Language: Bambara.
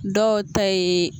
Dɔw ta ye